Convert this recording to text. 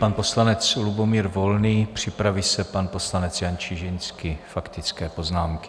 Pan poslanec Lubomír Volný, připraví se pan poslanec Jan Čižinský, faktické poznámky.